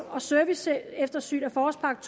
og serviceeftersyn af forårspakke